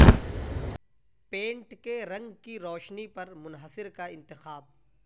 pant کے رنگ کی روشنی پر منحصر کا انتخاب